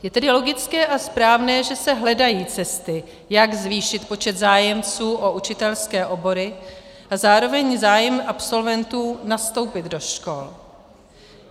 Je tedy logické a správné, že se hledají cesty, jak zvýšit počet zájemců o učitelské obory a zároveň zájem absolventů nastoupit do škol.